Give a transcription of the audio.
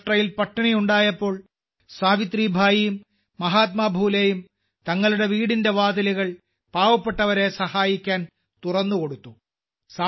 മഹാരാഷ്ട്രയിൽ പട്ടിണിയുണ്ടായപ്പോൾ സാവിത്രിഭായിയും മഹാത്മാ ഫൂലെയും തങ്ങളുടെ വീടിന്റെ വാതിലുകൾ പാവപ്പെട്ടവരെ സഹായിക്കാൻ തുറന്നുകൊടുത്തു